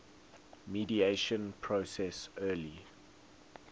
mediation process early